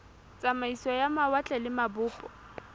tsamaiso ya mawatle le mabopo